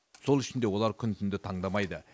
сол үшін де олар күн түнді таңдамайды